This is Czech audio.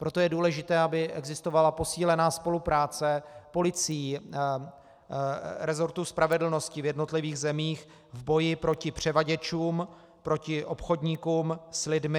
Proto je důležité, aby existovala posílená spolupráce policií, resortů spravedlnosti v jednotlivých zemích v boji proti převaděčům, proti obchodníkům s lidmi.